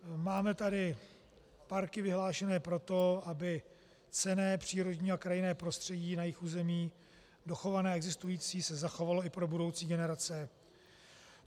Máme tady parky vyhlášené proto, aby cenné přírodní a krajinné prostředí na jejich území dochované a existující se zachovalo i pro budoucí generace.